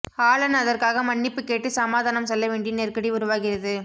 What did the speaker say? Alan அதற்காக மன்னிப்பு கேட்டுச் சமாதானம் சொல்ல வேண்டிய நெருக்கடி உருவாகிறது